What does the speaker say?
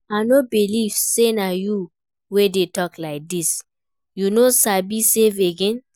I no believe say na you wey dey talk like dis. You no sabi save again?